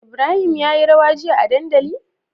Ibrahim ya yi rawa jiya a dandali?